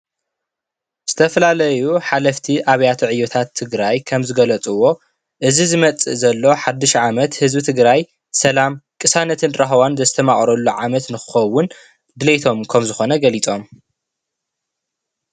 ዝተፈላለዩ ሓለፍቲ ኣብያተ ዕዮታት ትግራይ ከምዝገለፅዎ እዚ ዝመፅእ ዘሎ ሓዱሽ ዓመት ህዝቢ ትግራይ ሰላም፣ ቅሳነትን ራህዋን ዘስተማቕረሉ ዓመት ንኽኸዉን ድሌቶም ከም ዝኾነ ገሊፆም፡፡